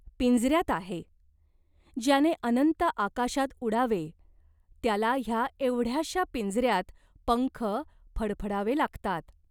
पिंजऱ्यात आहे. ज्याने अनंत आकाशात उडावे त्याला ह्या एवढ्याशा पिंजऱ्यात पंख फडफडावे लागतात.